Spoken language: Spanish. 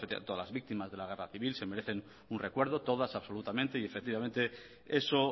todas las víctimas de la guerra civil se merecen un recuerdo todas absolutamente y efectivamente eso